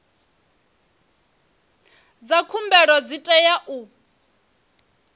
dza khumbelo dzi tea u